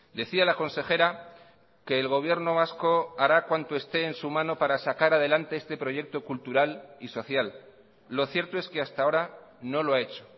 decía la consejera que el gobierno vasco hará cuanto este en su mano para sacar adelante este proyecto cultural y social lo cierto es que hasta ahora no lo ha hecho